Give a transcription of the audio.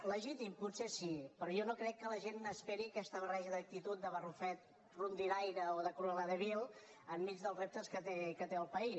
legítim potser sí però jo no crec que la gent esperi aquesta barreja d’actitud de barrufet rondinaire o de cruela de vil enmig dels reptes que té el país